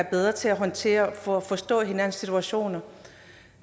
bedre til at håndtere for at forstå hinandens situationer